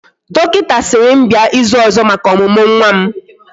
Dọkịta sịrị m bịa ịzụ ọzọ maka ọmụmụ nwa m